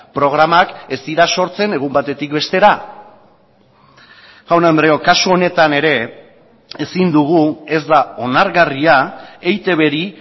programak ez dira sortzen egun batetik bestera jaun andreok kasu honetan ere ezin dugu ez da onargarria eitbri